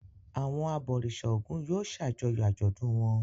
Àwọn abọ̀rìṣà Ògún yóò ṣàjọyọ̀ àjọ̀dún wọn.